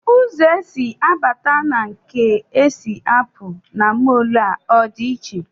Ụzọ e si abata na nke e si apụ na mọl a ọ dị iche?